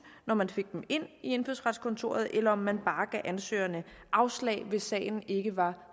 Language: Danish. når man fik dem ind i indfødsretskontoret eller om man bare gav ansøgerne afslag hvis sagen ikke var